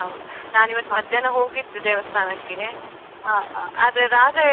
ಹೌದು ನಾನ್ ಇವತ್ ಮಧ್ಯಾಹ್ನ ಹೋಗಿದ್ ದೇವಸ್ಥಾನಕ್ಕೆ, ಆದ್ರೆ ರಾತ್ರಿ